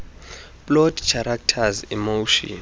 plot characters emotion